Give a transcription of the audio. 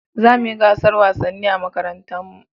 Za mu yi gasar wasanni a makarantar mu